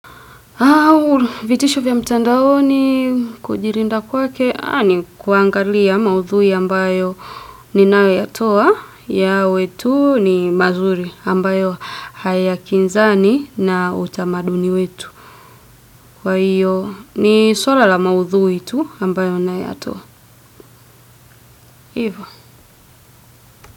Vitisho vya mtandaoni kujilinda kwake ni kuangalia maudhui ambayo ninayatoa yawe tu ni mazuri ambayo hayakinzani na utamaduni wetu kwa hiyo, ni swala la maudhui tu ambayo na yatoa.